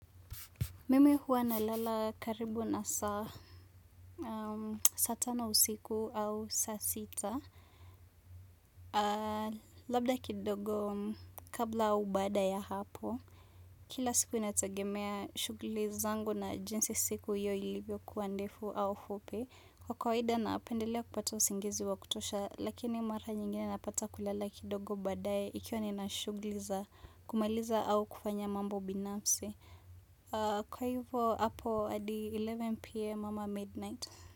Mimi huwa nalala karibu na saa saa tano usiku au saa sita. Labda kidogo kabla au baada ya hapo. Kila siku inategemea shughli zangu na jinsi siku hiyo ilivyokuwa ndefu au fupi. Kwa kawaida napendelea kupata usingizi wa kutosha. Lakii mara nyingine napata kulala kidogo baadaye ikiwa nina shughuli za kumaliza au kufanya mambo binafsi. Kwa hivo hapo hadi eleven pm ama midnight.